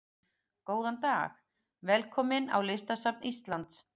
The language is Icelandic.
Góðan dag. Velkomin á Listasafn Íslands.